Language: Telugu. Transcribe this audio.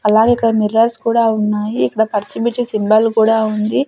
అలాగే ఇక్కడ మిరర్స్ కుడా ఉన్నాయి ఇక్కడ పర్చిమిర్చి సింబల్ కుడా ఉంది.